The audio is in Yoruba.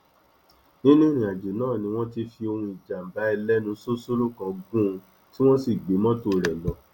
nínú ìrìnàjò náà ni wọn ti fi ohùn ìjàmbá ẹlẹnu ṣóṣóró gùn ún tí wọn sì gbé mọtò rẹ lọ